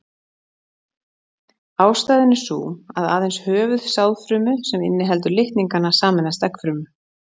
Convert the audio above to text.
Ástæðan er sú að aðeins höfuð sáðfrumu sem inniheldur litningana sameinast eggfrumu.